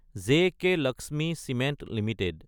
JK Lakshmi cement Ltd